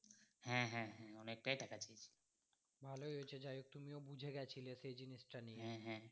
ভালো হয়েছে যাই হোক তুমিও বুঝে গেছিলে এই জিনিস টা নিয়ে